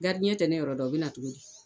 tɛ ne yɔrɔ dɔn o bɛ na cogo di?